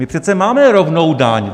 My přece máme rovnou daň!